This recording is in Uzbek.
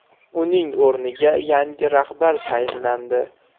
Uning o‘rniga yangi rahbar tayinlandi.